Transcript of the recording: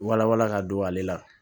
Wala wala ka don ale la